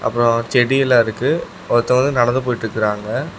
அப்ரோ செடி எல்லாம் இருக்கு ஒருத்தன் வந்து நடந்து போயிட்டு இருக்கிறாங்க.